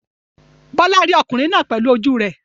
Bola rí ọkùnrin náà pẹ̀lú ojú rẹ̀.